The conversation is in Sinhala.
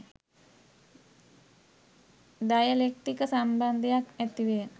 දය ලෙක්තික සම්බන්ධයක් ඇතිවය.